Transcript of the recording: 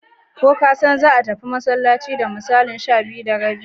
Ko kasan za a tafi masallaci da misalin 12:30?